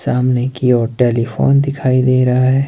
सामने की और टेलीफोन दिखाई दे रहा है।